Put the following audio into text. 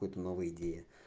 какие-то новые идеи